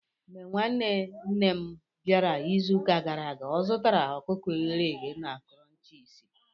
Mgbe nwanne nne m bịara izuụka gara aga, ọ zụtara ọkụkọ e ghere eghe na Crunchies.